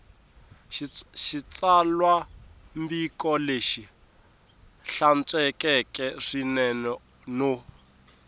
xitsalwambiko lexi hlantswekeke swinene no